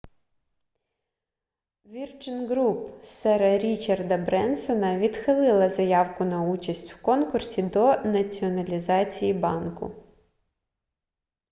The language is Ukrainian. virgin group сера річарда бренсона відхилила заявку на участь в конкурсі до націоналізації банку